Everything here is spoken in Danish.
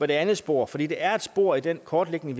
det andet spor for det det er et spor i den kortlægning